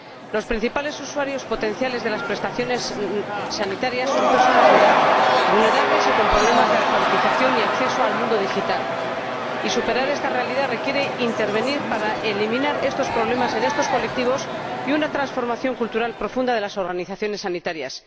Los principales usuarios potenciales de las prestaciones sanitarias son personas de edad, vulnerables y con problemas de alfabetización y acceso al mundo digital, y superar esta realidad requiere intervenir para eliminar estos problemas en estos colectivos, además de una transformación cultural profunda de las organizaciones sanitarias.